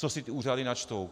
Co si ty úřady načtou?